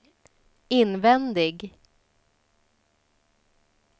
invändig